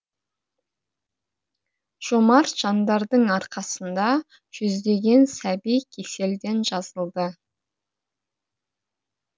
жомарт жандардың арқасында жүздеген сәби кеселден жазылды